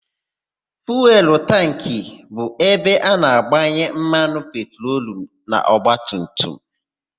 Fuelu tankị bụ ebe a na-agbanye mmanụ petrolu n'ọgbatumtum.